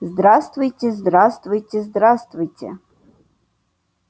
здравствуйте здравствуйте здравствуйте